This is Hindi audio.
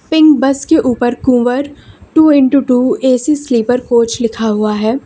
पिंक बस के ऊपर Kunwar two into two A C sleeper coach लिखा हुआ है।